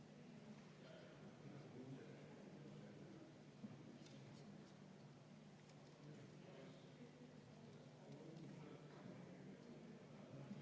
Aga nüüd me jõuame muudatusettepanekute §-ni 2 ja see on tõeliselt üllatav.